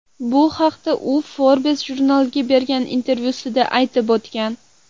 Bu haqda u Forbes jurnaliga bergan intervyusida aytib o‘tgan .